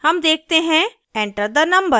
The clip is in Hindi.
हम देखते हैंः enter the number